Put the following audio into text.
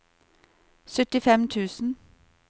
syttifem tusen